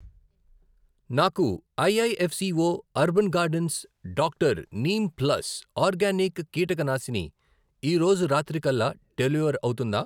నాకు I I F C O urban gardens doctor neem plus organic కీటకనాశిని ఈరోజు రాత్రికల్లా డెలివర్ అవుతుందా?